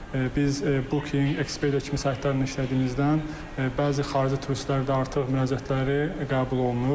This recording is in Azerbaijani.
Biz booking, Expedia kimi saytlarla işlədiyimizdən bəzi xarici turistlərdə artıq müraciətləri qəbul olunub.